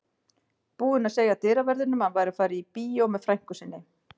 Búinn að segja dyraverðinum að hann væri að fara á bíó með frænku sinni.